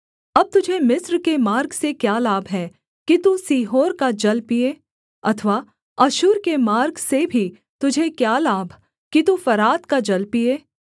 अब तुझे मिस्र के मार्ग से क्या लाभ है कि तू सीहोर का जल पीए अथवा अश्शूर के मार्ग से भी तुझे क्या लाभ कि तू फरात का जल पीए